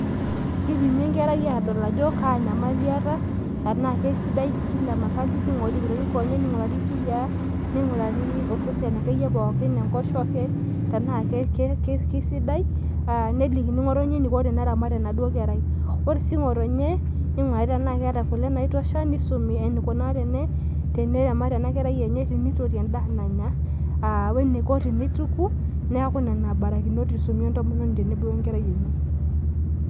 kipimi enkerai adol ajo kaanyamali eeta teenaa kisidai kila mahali ning'urari inkonyek, inkiyia tenaa kisidain osesen pooki enkoshoke , nelikini ng'otonye eniko teneramat enaduo kerai ,ore siininye ng'otonye ning'urari tenaa keeta kule, eniko teneramat eniko tenituku.